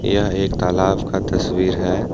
यह एक तालाब का तस्वीर है।